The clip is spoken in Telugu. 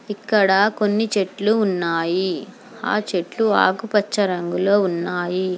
ఇక్కడ కొన్ని చెట్లు ఉన్నాయి ఆ చెట్లు ఆకు పచ్చ రంగులో ఉన్నాయి.